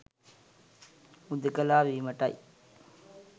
හුදෙකලා වීමටයි.